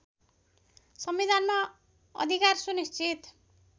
संविधानमा अधिकार सुनिश्चित